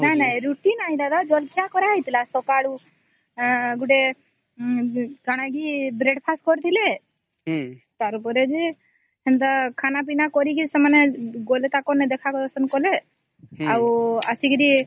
ନାଇଁ ନାଇଁ ରୁଟି ନ ଏଇ ଦାଦା ଜଳଖିଆ କର ହେଇଥିଲା ସକାଳେ କଣ ବ୍ରେଡ ଫାଷ୍ଟ କରିଥିଲେ ତାର ପରେ ସେମିତି ଖାନା ପୀନା କରିକି ସେମାନେ ଗଲେ ତାଙ୍କ ନେ ଦେଖା ଦର୍ଶନ କଲେ ଆଉ ଅସୀକିରି -ହୁଁ ହୁଁ ହୁଁ